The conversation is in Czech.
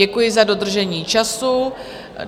Děkuji za dodržení času.